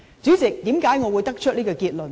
主席，為何我會得出這結論呢？